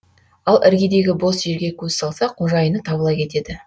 ал іргедегі бос жерге көз салса қожайыны табыла кетеді